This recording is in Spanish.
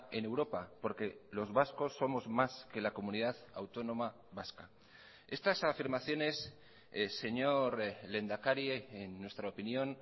en europa porque los vascos somos más que la comunidad autónoma vasca estas afirmaciones señor lehendakari en nuestra opinión